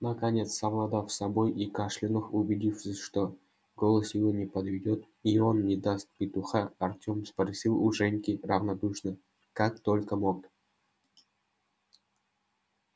наконец совладав с собой и кашлянув убедившись что голос его не подведёт и он не даст петуха артём спросил у женьки равнодушно как только мог